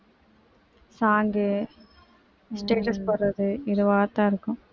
song status போடுறது இதுவாதான் இருக்கும்